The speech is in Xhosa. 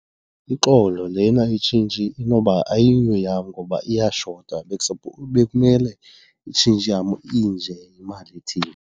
Uxolo lena itshintshi inoba ayiyo yam ngoba iyashota, bekumele itshintshi yam inje yimali ethile.